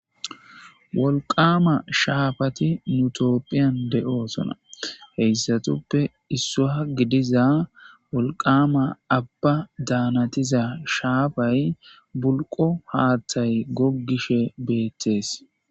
wolqama shaafati nutoopphiyan de7oosona heyssatuppe issuwa gidiza wolqama abba daanatiza shaafay bulqo haaththay goggishe beettees